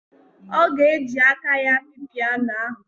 Ọ ga-eji aka ya api piyano ahụ.